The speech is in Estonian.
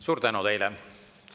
Suur tänu teile!